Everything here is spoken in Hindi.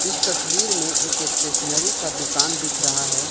इस तस्वीर में एक स्टेशनरी का दुकान दिख रहा है।